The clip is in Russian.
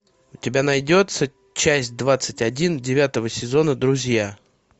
у тебя найдется часть двадцать один девятого сезона друзья